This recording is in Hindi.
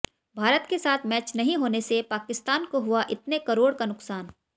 भारत के साथ मैच नहीं होने से पाकिस्तान को हुआ इतने करोड़ का नुकसान